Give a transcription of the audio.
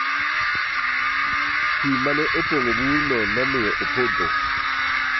Pii ma ne opong'o burno ne omiyo opodho.